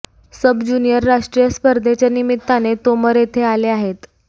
सब junior राष्ट्रीय स्पर्धेच्या निमित्ताने तोमर येथे आले आहेत